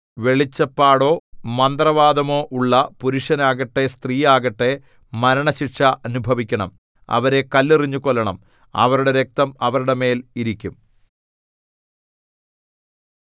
വെളിച്ചപ്പാടോ മന്ത്രവാദമോ ഉള്ള പുരുഷൻ ആകട്ടെ സ്ത്രീയാകട്ടെ മരണശിക്ഷ അനുഭവിക്കണം അവരെ കല്ലെറിഞ്ഞു കൊല്ലണം അവരുടെ രക്തം അവരുടെ മേൽ ഇരിക്കും